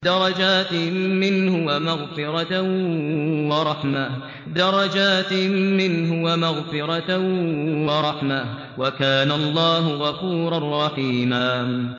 دَرَجَاتٍ مِّنْهُ وَمَغْفِرَةً وَرَحْمَةً ۚ وَكَانَ اللَّهُ غَفُورًا رَّحِيمًا